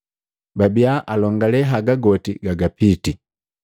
Babia alongalee haga goti gagapiti.